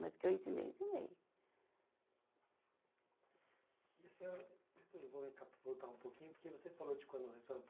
Mas que eu ensinei, eu ensinei. E a senhora, depois vou recapi, voltar um pouquinho porque você falou de quando vocês foram